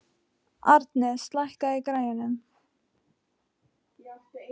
Arnes, lækkaðu í græjunum.